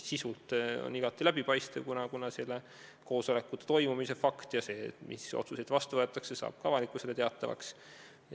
Sisult on see igati läbipaistev, kuna selle koosolekute toimumise fakt ja see, mis otsuseid vastu võetakse, saab ka avalikkusele teatavaks.